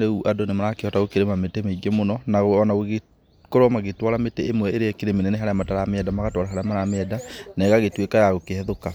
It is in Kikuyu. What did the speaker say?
rĩu andũ nĩ marakĩhota gũkĩrĩma mĩtĩ mĩingĩ mũno na ona gũgĩkorwo magĩtwara mĩtĩ ĩmwe ĩrĩa ĩkĩrĩ mĩnene harĩa mataramĩenda magatwara harĩa maramĩenda, na ĩgagĩtuĩka ya gũkĩhethũka.